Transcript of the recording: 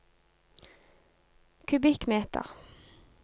kubikkmeter